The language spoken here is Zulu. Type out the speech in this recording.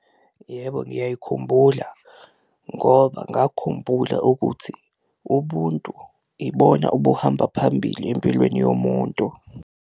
Yebo, ngiyayikhumbula ngoba ngakhumbula ukuthi ubuntu ibona obuhamba phambili empilweni yomuntu.